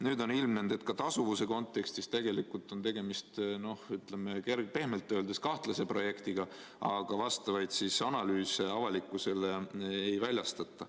Nüüd on ilmnenud, et tasuvuse kontekstis on tegemist pehmelt öeldes kahtlase projektiga, aga vastavaid analüüse avalikkusele ei väljastata.